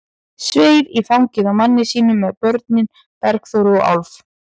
Sveif í fangið á manni sínum með börnin, Bergþóru og Álf.